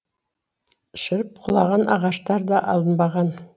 шіріп құлаған ағаштар да алынбаған